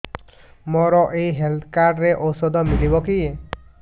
ମୋର ଏଇ health card ରେ ଔଷଧ ମିଳିବ କି